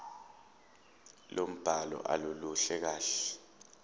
lombhalo aluluhle kahle